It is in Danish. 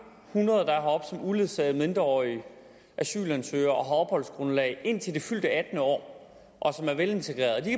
hundrede der er heroppe som uledsagede mindreårige asylansøgere og har opholdsgrundlag indtil det fyldte attende år og som er velintegrerede og de